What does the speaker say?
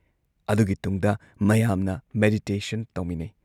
ꯑꯗꯨꯒꯤ ꯇꯨꯡꯗ ꯃꯌꯥꯝꯅ ꯃꯦꯗꯤꯇꯦꯁꯟ ꯇꯧꯃꯤꯟꯅꯩ ꯫